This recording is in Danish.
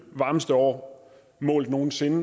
varmeste år målt nogen sinde